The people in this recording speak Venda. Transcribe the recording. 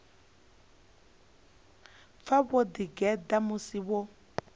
pfa vho ḓigeḓa musi vho